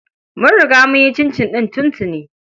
Mun riga mun yi cincin ɗin tuntuni.